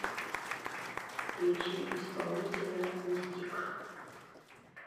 включи исполнителя мистик